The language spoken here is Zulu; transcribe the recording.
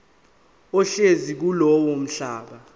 ohlezi kulowo mhlaba